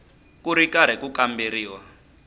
ku ri karhi ku kamberiwa